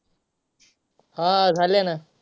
हंझालेना